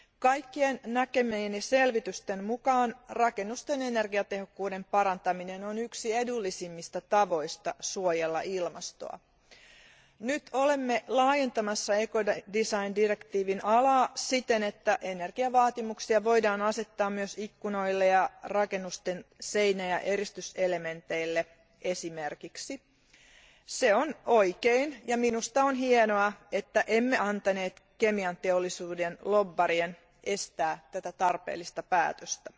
Kaikkien näkemieni selvitysten mukaan rakennusten energiatehokkuuden parantaminen on yksi edullisimmista tavoista suojella ilmastoa. Nyt olemme laajentamassa ekologista suunnittelua koskevan direktiivin soveltamisalaa siten, että energiavaatimuksia voidaan asettaa esimerkiksi myös ikkunoille ja rakennusten seinä ja eristyselementeille. Se on oikein, ja minusta on hienoa, ettemme antaneet kemianteollisuuden lobbarien estää tätä tarpeellista päätöstä.